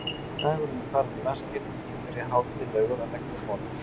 Dagurinn er farinn í vaskinn, ég byrja hátíðlegur að leggja á borð.